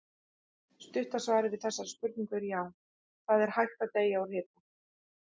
Stutta svarið við þessari spurningu er já, það er hægt að deyja úr hita.